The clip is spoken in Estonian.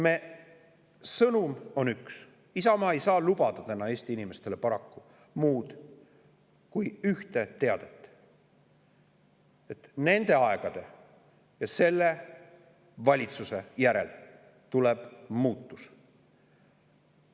Meie sõnum on üks, Isamaa ei saa lubada täna Eesti inimestele paraku muud kui üht: nende aegade ja selle valitsuse järel tuleb muutus.